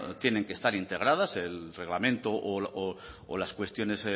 tienen que estar integradas el reglamento o las cuestiones